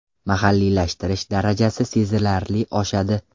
Mahalliylashtirish darajasi sezilarli oshadi.